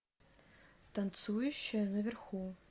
танцующая наверху